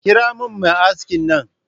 Kira min mai aski nan.